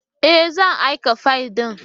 Ee! zan aika fayil ɗin.